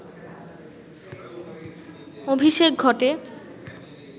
অভিষেক ঘটে